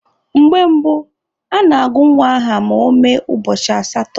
Mgbe gboo, a na-agụ nwa aha ma ọ mee ụbọchị asatọ.